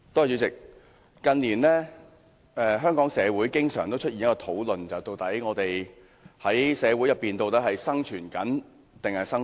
主席，近年來，香港社會經常討論，究竟我們是在社會上生存還是生活？